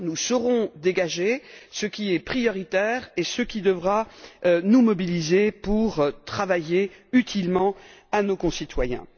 Nous saurons dégager ce qui est prioritaire et ce qui devra nous mobiliser pour travailler utilement pour nos concitoyens.